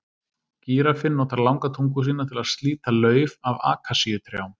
Gíraffinn notar langa tungu sína til að slíta lauf af akasíutrjám.